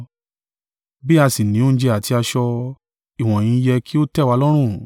Bí a sì ni oúnjẹ àti aṣọ, ìwọ̀nyí yẹ́ kí ó tẹ́ wa lọ́rùn.